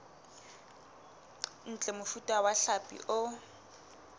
ntle mofuta wa hlapi o